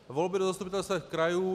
Volby do zastupitelstev krajů.